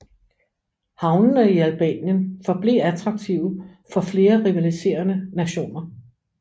Havnene i Albanien forblev attraktive for flere rivaliserende nationer